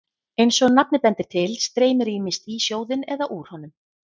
Eins og nafnið bendir til streymir ýmist í sjóðinn eða úr honum.